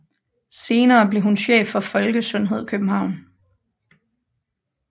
Senere blev hun chef for Folkesundhed København